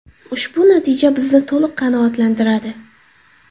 Ushbu natija bizni to‘liq qanoatlantiradi.